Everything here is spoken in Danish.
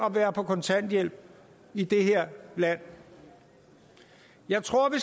at være på kontanthjælp i det her land jeg tror vi